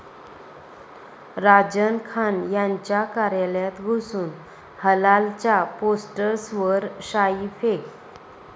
राजन खान यांच्या कार्यालयात घुसून 'हलाल'च्या पोस्टर्सवर शाईफेक